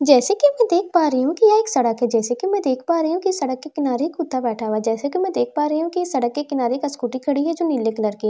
जैसे कि मैं देख पा रही हूं यह एक सड़क है जैसा कि मैं देख पा रही हूं कि सड़क के किनारे एक कुत्ता बैठा हुआ है जैसे कि मैं देख पा रही हूं कि सड़क के किनारे एक स्कूटी खड़ी है जो नीले कलर की है जैसे कि--